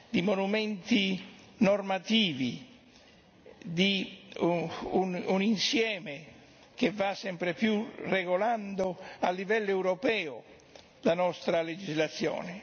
di monumenti normativi, di un insieme che va sempre più regolando a livello europeo la nostra legislazione.